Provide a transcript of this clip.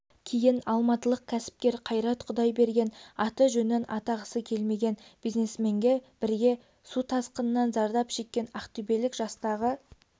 кейін алматылық кәсіпкер қайрат құдайберген аты-жөнін атағысы келмеген бизнесменмен бірге су тасқынынан зардап шеккен ақтөбелік жастағы